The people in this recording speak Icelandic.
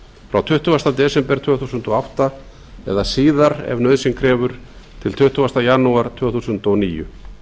frá tuttugasta desember tvö þúsund og átta eða síðar ef nauðsyn krefur til tuttugasta janúar tvö þúsund og níu